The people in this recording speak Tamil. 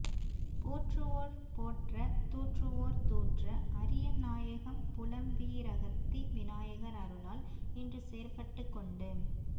போற்றுவோர் போற்ற தூற்றுவோர் தூற்ற அரியநாயகம் புலம் வீ ரகத்தி விநாயகர் அருளால் இன்று செயற்பட்டு கொண்டு